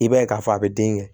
I b'a ye k'a fɔ a bɛ den kɛ